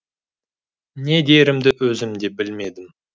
не дерімді өзім де білмедім